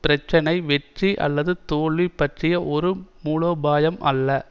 பிரச்சனை வெற்றி அல்லது தோல்வி பற்றிய ஒரு மூலோபாயம் அல்ல